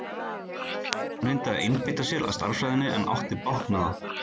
Örn reyndi að einbeita sér að stærðfræðinni en átti bágt með það.